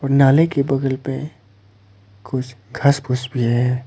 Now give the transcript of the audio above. नाले के बगल में कुछ घास फूस भी है।